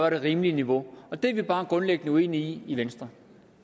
et rimeligt niveau det er vi bare grundlæggende uenige i i venstre